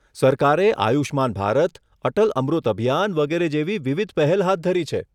સરકારે આયુષ્માન ભારત, અટલ અમૃત અભિયાન વગેરે જેવી વિવિધ પહેલ હાથ ધરી છે.